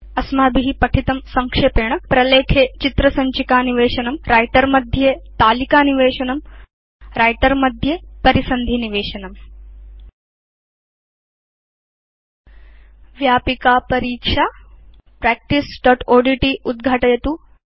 अस्माभि यद् पठितं तद् संक्षेपेण प्रलेखे चित्र सञ्चिका निवेशनम् व्रिटर मध्ये तालिकानिवेशनम् व्रिटर मध्ये परिसन्धि निवेशनम् व्यापिका परीक्षा practiceओड्ट् उद्घाटयतु